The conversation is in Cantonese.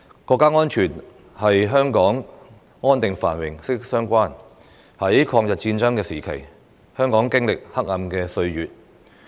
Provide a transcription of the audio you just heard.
國家安全與香港的安定繁榮息息相關，在抗日戰爭時期，香港經歷黑暗歲月。